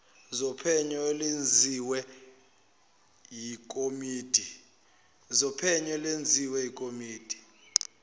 zophenyo olwenziwe yikomidi